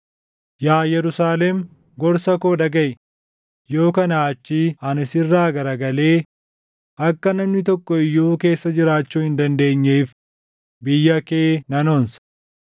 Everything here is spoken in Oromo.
Yaa Yerusaalem gorsa koo dhagaʼi; yoo kanaa achii ani sirraa garagalee, akka namni tokko iyyuu keessa jiraachuu hin dandeenyeef, biyya kee nan onsa.”